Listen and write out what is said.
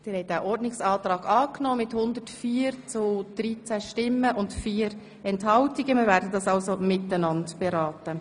Sie haben den Antrag Graf angenommen, wir werden die drei Traktanden demnach gemeinsam beraten.